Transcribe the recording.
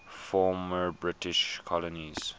former british colonies